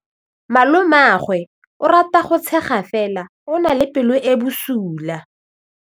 Malomagwe o rata go tshega fela o na le pelo e e bosula.